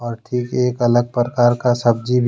एक अलग प्रकार का सब्जी--